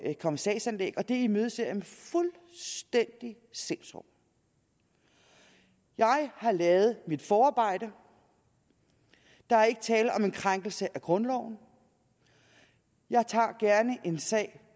sagsanlæg og det imødeser jeg med fuldstændig sindsro jeg har lavet mit forarbejde der er ikke tale om en krænkelse af grundloven jeg tager gerne en sag